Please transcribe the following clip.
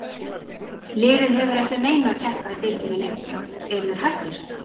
Liðið hefur ekki að neinu að keppa í deildinni lengur, eru þeir hættir?